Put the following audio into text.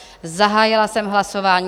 Zahájila jsem hlasování.